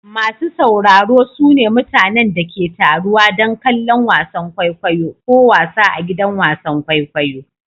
Masu sauraro su ne mutanen da ke taruwa don kallon wasan kwaikwayo ko wasa a gidajen wasan kwaikwayo.